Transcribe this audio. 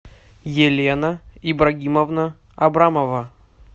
елена ибрагимовна абрамова